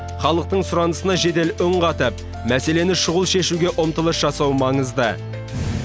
халықтың сұранысына жедел үн қатып мәселені шұғыл шешуге ұмтылыс жасау маңызды